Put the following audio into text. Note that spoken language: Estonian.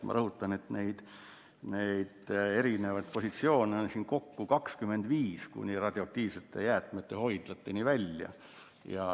Ma rõhutan, et erinevaid positsioone on kokku 25, kuni radioaktiivsete jäätmete hoidlateni välja.